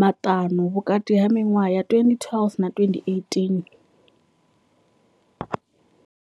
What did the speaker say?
maṱanu, vhukati ha minwaha ya 2012 na 2018.